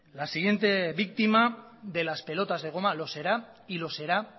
la siguiente víctima de las pelotas de goma lo será y lo será